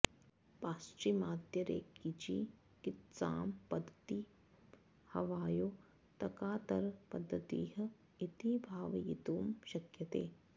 पाश्चिमात्यरेकिचिकित्सां पद्धतिं हवायो तकातर पद्धतिः इति भावयितुं शक्यते